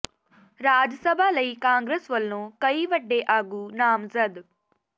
ਰਾਜ ਸਭਾ ਲਈ ਕਾਂਗਰਸ ਵੱਲੋਂ ਕਈ ਵੱਡੇ ਆਗੂ ਨਾਮਜ਼ਦ